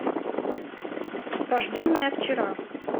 рожденная вчера